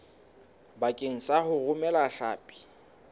bakeng sa ho romela hlapi